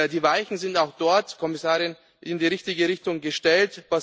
Die Weichen sind auch dort, Frau Kommissarin, in die richtige Richtung gestellt.